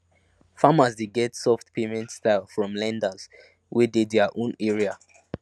farmers dey get soft payment style from lenders wey dey their own area